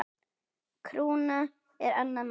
Krúna er annað mál.